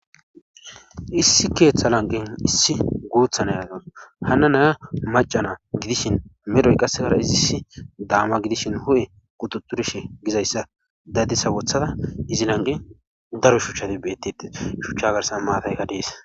Issi keeththa lanqen issi guuthan ayata hana naya macana gidishin medhoy qassegara izissi daama gidishin hu7e qututurshe gizayssa dadisa wothada izi lanqe daro shuchati bettide shuchcha garsan maatayka dees.